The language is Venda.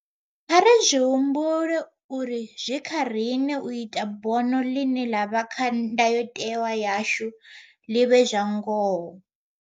Kha ri zwi humbule uri zwi kha riṋe u ita uri bono ḽine ḽa vha kha Ndayotewa yashu ḽi vhe zwa ngoho.